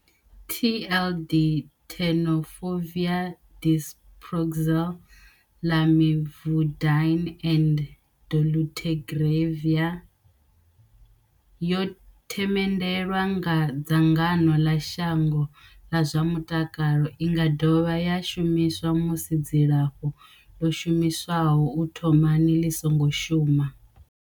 TLD Tenofovir disoproxil, Lamivudine and dolutegravir yo themendelwa nga dzangano ḽa shango ḽa zwa mutakalo. I nga dovha ya shumiswa musi dzilafho ḽo shumiswaho u thomani ḽi songo shuma.